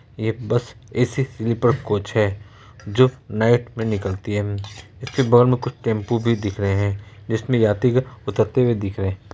ये bus AC. Sleeper coach है जो नाईट मे निकलती है इसके बगल मे कुछ टेम्पो भी दिख रे है जिसमे यात्रीगण उतरते हुए दिख रहे है।